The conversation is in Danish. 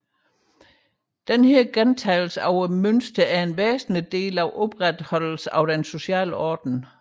Dette mønsters gentagelse er en væsentlig del af opretholdelsen af den sociale orden